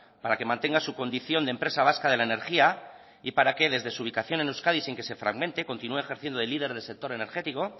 para que mantenga su condición de empresa vasca de la energía y para que desde su ubicación en euskadi sin que se fragmente continúe ejerciendo de líder del sector energético